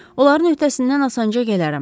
Onların öhdəsindən asanca gələrəm.